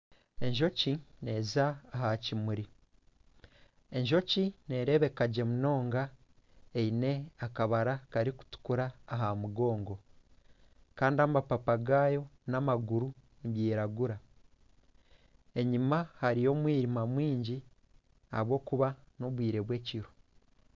Enjoki neza aha kimuri, enjoki nerebeka gye munonga eine akabara karikutukura aha mugongo Kandi amapapa gayo n'amaguru gayo nigiragura. Enyima hariyo omwirima mwingi ahabwokuba n'obwire bwekiro.